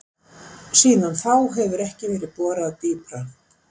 Síðan þá hefur ekki verið borað dýpra.